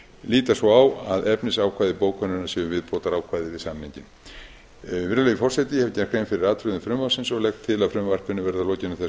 líta svo á að efnisákvæði bókunarinnar séu viðbótarákvæði við samninginn virðulegi forseti ég hef gert grein fyrir atriðum frumvarpsins og legg til að frumvarpinu verði að lokinni